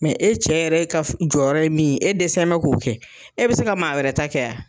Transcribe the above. e cɛ yɛrɛ ka f jɔrɔrɔ ye min ye, e dɛsɛnbɛ k'o kɛ, e be se ka maa wɛrɛ ta kɛ a?